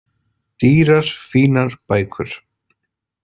Dýrar fínar bækur.